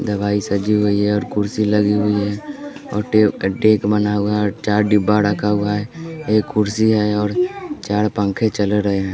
दवाई सजी हुई है और कुर्सी लगी हुई है टेब का टेक बना हुआ है और चार डिब्बा रखा हुआ है ये कुर्सी है और चार पंखे चल रहे हैं।